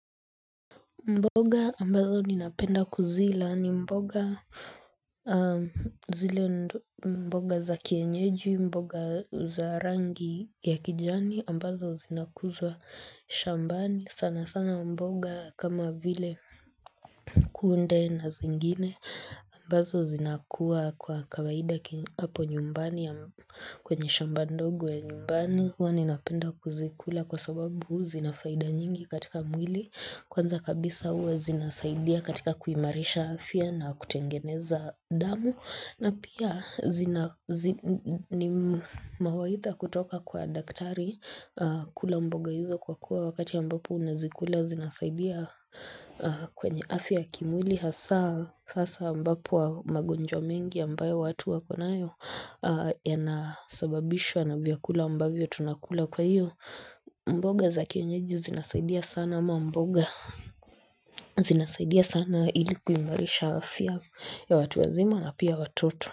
Mboga ambazo ninapenda kuzila ni mboga zile mboga za kienyeji mboga za rangi ya kijani ambazo zinakuzwa shambani sana sana mboga kama vile kunde na zingine ambazo zinakuwa kwa kawaida hapo nyumbani kwenye shamba ndogo ya nyumbani huwa ninapenda kuzikula kwa sababu zina faida nyingi katika mwili Kwanza kabisa uwe zinasaidia katika kuimarisha afya na kutengeneza damu na pia ni mawaidha kutoka kwa daktari kula mboga hizo kwa kuwa wakati ambapo unazikula zinasaidia kwenye afya ya kimwili Hasa ambapo magonjwa mengi ambayo watu wako nayo Yanasababishwa na vyakula ambavyo tunakula kwaiyo mboga za kienyeji zinasaidia sana ama mboga zinasaidia sana ili kuimarisha afya ya watu wazima na pia watoto.